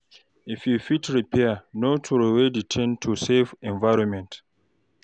If you fit repair, no trowey di thing to save environment